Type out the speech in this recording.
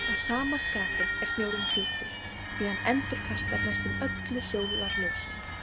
Að sama skapi er snjórinn hvítur því hann endurkastar næstum öllu sólarljósinu.